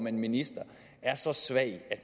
en minister er så svag at